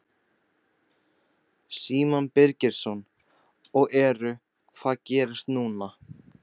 Símon Birgisson: Og eru, hvað gerist núna?